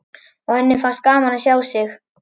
Og henni fannst gaman að sjá þig?